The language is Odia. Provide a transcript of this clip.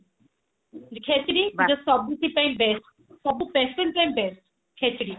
ଖେଚିଡି ସବୁଥି ପାଇଁ best ସବୁ patient ପାଇଁ best ଖେଚଡି